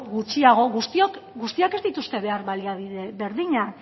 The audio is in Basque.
gutxiago guztiek ez dituzte behar baliabide berdinak